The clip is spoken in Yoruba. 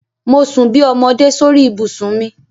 Mo sun bí ọmọdé sórí ibùsùn mi.